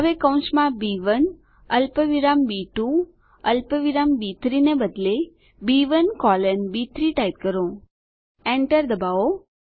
હવે કૌંસમાં બી1 અલ્પવિરામ બી2 અલ્પવિરામ બી3 ને બદલે બી1 કોલન બી3 ટાઈપ કરો Enter દબાવો